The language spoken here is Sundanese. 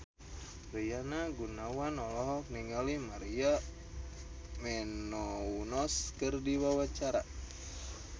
Rina Gunawan olohok ningali Maria Menounos keur diwawancara